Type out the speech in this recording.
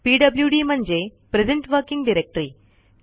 PWD म्हणजे present working directory